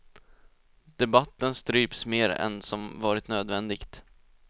Debatten stryps mer än som varit nödvändigt.